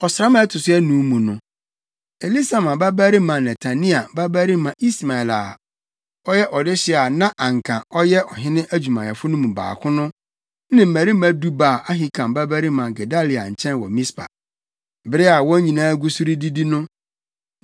Ɔsram a ɛto so ason mu no, Elisama babarima Netania babarima Ismael a ɔyɛ ɔdehye a na anka ɔyɛ ɔhene adwumayɛfo no mu baako no ne mmarima du baa Ahikam babarima Gedalia nkyɛn wɔ Mispa. Bere a wɔn nyinaa gu so redidi no,